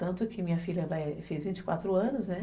Tanto que minha filha fez vinte e quatro anos, né?